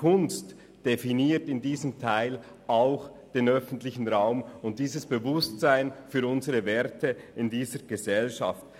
Kunst definiert in diesem Teil auch den öffentlichen Raum und das entsprechende Bewusstsein für unsere Werte in dieser Gesellschaft.